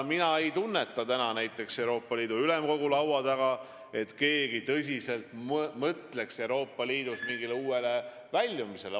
Mina ei tunneta näiteks Euroopa Ülemkogu laua taga seda, et keegi Euroopa Liidus mõtleks tõsiselt mingile uuele väljumisele.